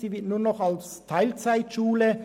Sie wäre nur noch eine TeilzeitSchule.